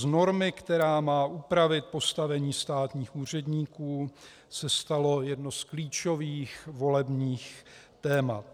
Z normy, která má upravit postavení státních úředníků, se stalo jedno z klíčových volebních témat.